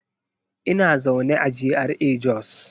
Ina zaune a GRA Jos.